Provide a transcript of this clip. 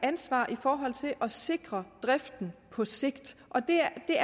ansvar i forhold til at sikre driften på sigt og det